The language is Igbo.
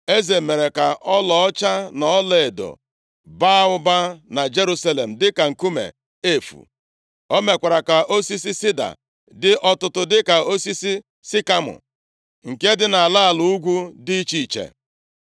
Eze mere ka ọlaọcha na ọlaedo baa ụba na Jerusalem, dịka nkume efu. O mekwara ka osisi sida dị ọtụtụ dịka osisi sikamọ nke dị nʼala ala ugwu dị iche iche